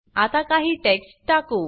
आता काही टेक्स्ट टाकु